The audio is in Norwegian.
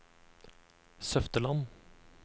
Søfteland